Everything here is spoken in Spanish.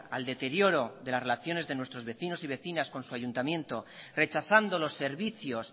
al deterioro de las relaciones de nuestros vecinos y vecinas con su ayuntamiento rechazando los servicios